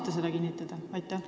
Ja kas saate kinnitada, et on?